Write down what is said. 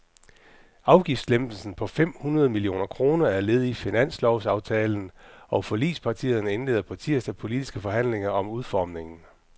Afgiftslempelsen på fem hundrede millioner kroner er led i finanslovsaftalen, og forligspartierne indleder på tirsdag politiske forhandlinger om udformningen.